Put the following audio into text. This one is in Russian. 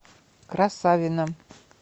красавино